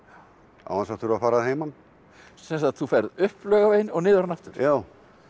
án þess að þurfa að fara að heiman sem sagt þú ferð upp Laugaveginn og niður hann aftur já